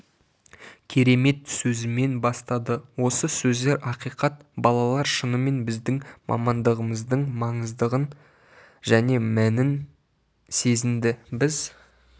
керемет сөзімен бастады осы сөздер ақиқат балалар шынымен біздің мамандығымыздың маңыздығын және мәнің сезінді біз